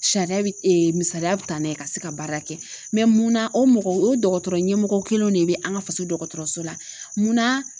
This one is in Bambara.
Sariya misaliya bi tanen ka se ka baara kɛ mun na o mɔgɔ o dɔkɔtɔrɔ ɲɛmɔgɔ kelen de bɛ an ka faso dɔkɔtɔrɔso la ? mun na?